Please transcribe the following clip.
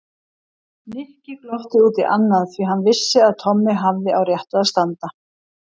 Nikki glotti út í annað því hann vissi að Tommi hafði á réttu að standa.